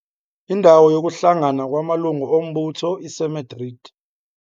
Indawo yokuhlangana kwamalungu ombutho iseMadrid.